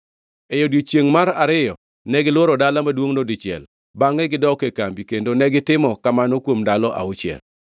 E odiechiengʼ mar ariyo negilworo dala maduongʼno dichiel bangʼe gidok e kambi kendo negitimo kamano kuom ndalo auchiel.